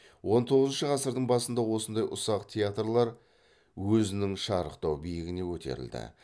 он тоғызыншы ғасырдың басында осындай ұсақ театрлар өзінің шарықтау биігіне көтерілді